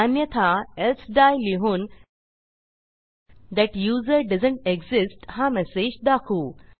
अन्यथा else die लिहून that user doesn't exist हा मेसेज दाखवू